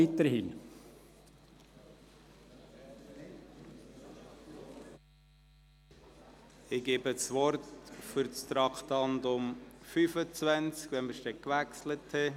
Sobald wir das Traktandum gewechselt haben, gebe ich zum Traktandum 25 Grossrat Riem für die BaK das Wort.